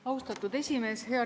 Austatud esimees!